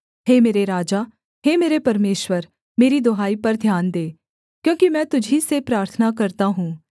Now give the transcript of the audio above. हे मेरे राजा हे मेरे परमेश्वर मेरी दुहाई पर ध्यान दे क्योंकि मैं तुझी से प्रार्थना करता हूँ